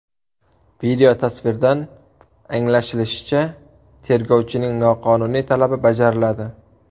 Videotasvirdan anglashilishicha, tergovchining noqonuniy talabi bajariladi.